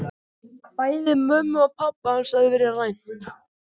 Bæði mömmu og pabba hans hafði verið rænt.